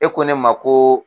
E ko ne ma ko